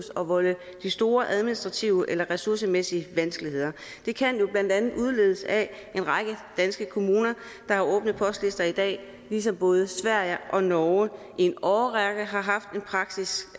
at volde de store administrative eller ressourcemæssige vanskeligheder det kan jo blandt andet udledes af en række danske kommuner der har åbne postlister i dag ligesom både sverige og norge i en årrække har haft en praksis